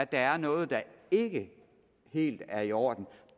der er noget der ikke helt er i orden